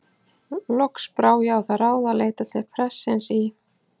Loks brá ég á það ráð að leita til prestsins í